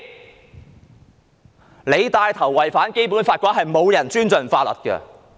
如果當局帶頭違反《基本法》，再沒有人會尊重法律。